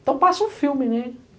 Então, passa um filme, né?